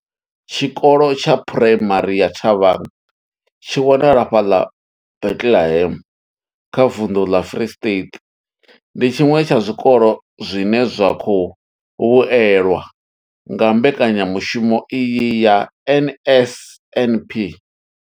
Tshikolo tsha Phuraimari ya Thabang tshi wanalaho fhaḽa Bethlehem kha vunḓu ḽa Free State, ndi tshiṅwe tsha zwikolo zwine zwa khou vhuelwa nga mbekanyamushumo iyi ya NSNP.